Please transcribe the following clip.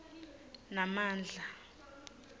namandla